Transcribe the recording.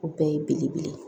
O bɛɛ ye belebele ye